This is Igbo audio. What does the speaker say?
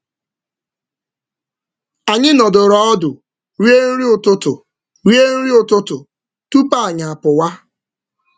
Anyị nọdụrụ ọnụ wee rie um nri ụtụtụ zuru oke tupu anyị apụọ.